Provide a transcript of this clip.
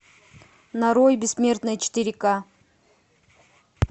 нарой бессмертные четыре ка